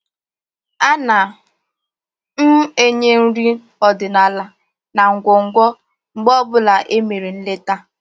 A na m enye nri ọdịnaala na ngwugwu mgbe ọbụla e mere nleta